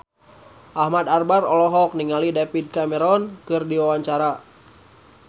Ahmad Albar olohok ningali David Cameron keur diwawancara